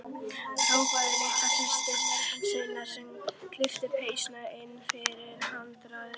Hrópaði til systur sinnar að kippa penslinum inn fyrir handriðið.